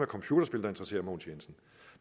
computerspil der interesserer herre mogens jensen